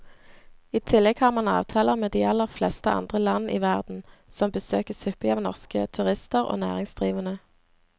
I tillegg har man avtaler med de aller fleste andre land i verden, som besøkes hyppig av norske turister og næringsdrivende.